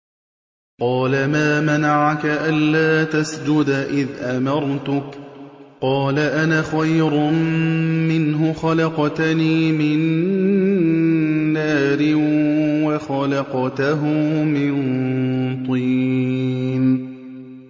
قَالَ مَا مَنَعَكَ أَلَّا تَسْجُدَ إِذْ أَمَرْتُكَ ۖ قَالَ أَنَا خَيْرٌ مِّنْهُ خَلَقْتَنِي مِن نَّارٍ وَخَلَقْتَهُ مِن طِينٍ